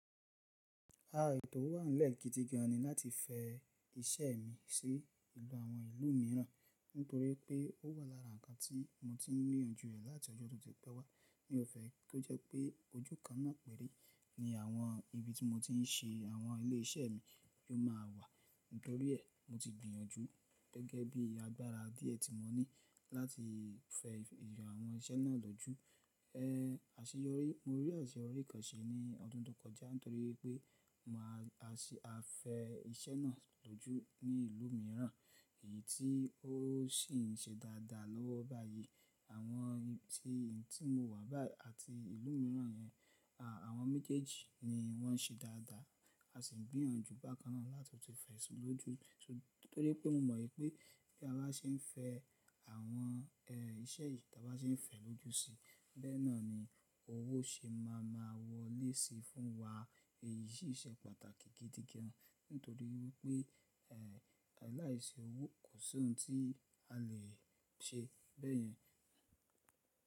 A, ètò wà nílẹ̀ gidi gan ni láti fẹ iṣẹ́ mi sí ìlú àwọn ìlú mìíràn, nítorí pé ó wà lára ǹnkan tí mo ti ń gbìyànjú ẹ̀ láti ọjo tó ti pẹ́ wá. Mí ọfẹ́ ko jẹ́ pé ojú kan náà pẹ́rẹ́ ní àwọn ibi tí mo ti ń ṣe àwọn ilé iṣẹ́ mi yóò má a wà. Nítorí ẹ̀, mo ti gbìyànjú gẹ́gẹ́ bí agbára díẹ̀ tí mo ní láti fẹ ìjọ àwọn iṣẹ́ náà lójú. E, àṣeyọrí, mo rí àṣeyọrí kan se ní ọdún tó kọjá nítorí pé mo ma ṣe, a fẹ iṣẹ́ náà lójú ní ìlú mìíràn. Èyí tí ó sì ń ṣe dáadáa lọ́wọ́ báyìí. Àwọn ibi tí mo wà báyìí àti ìlú mìíràn yẹn, a, àwọn méjèèjì ni wọ́n ṣe dáadáa. A sì ń gbìyànjú bákan náà láti tú fẹ̀si lójú. Nítorí pé mo mọ̀ pé bí a bá ṣe ń fẹ àwọn e iṣẹ́ yìí tí a bá ṣe ń fẹ̀ ẹ lójú síi, bẹ́ẹ̀ náà ni owó ṣe má a máa wọlé síi fún wa. Èyí sì ṣe pàtàkì gidi gan nítorí wipé e láìṣe owó kò sí ohun tí a lè ṣe bẹ́ẹ̀ yẹn.